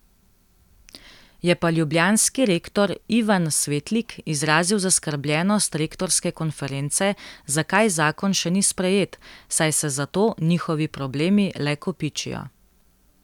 Je pa ljubljanski rektor Ivan Svetlik izrazil zaskrbljenost rektorske konference, zakaj zakon še ni sprejet, saj se zato njihovi problemi le kopičijo.